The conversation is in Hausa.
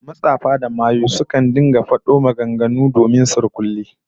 Matsafa da mayu sukan rika fafado maganganun surkulle